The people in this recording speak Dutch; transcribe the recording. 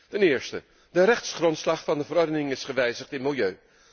Ten eerste, de rechtsgrondslag van de verordening is gewijzigd in milieu.